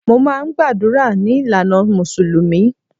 Mo máà ń gbàdúrà ní ìlànà mùsùlùmí